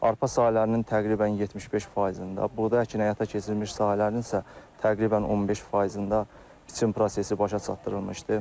Arpa sahələrinin təqribən 75%-ində, buğda əkini həyata keçirilmiş sahələrin isə təqribən 15%-ində biçim prosesi başa çatdırılmışdı.